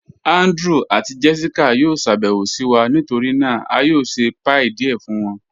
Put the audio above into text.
Andrew àti Jessica yó ṣàbẹwo sí wa, nítorí náà a yó ṣẹ̀ pie díẹ̀ fun wọn